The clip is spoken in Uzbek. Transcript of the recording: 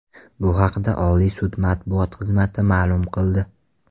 Bu haqda Oliy sud matbuot xizmati ma’lum qildi.